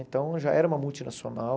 Então, já era uma multinacional.